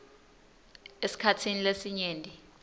esikhatsini lesinyenti